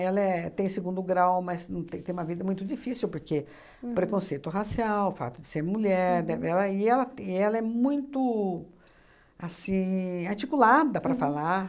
Ela é tem segundo grau, mas não tem tem uma vida muito difícil, porque preconceito racial, o fato de ser mulher dé... Ela e ela é muito assim articulada para falar.